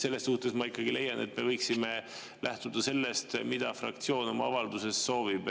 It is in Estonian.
Selles suhtes ma ikkagi leian, et me võiksime lähtuda sellest, mida fraktsioon oma avalduses soovib.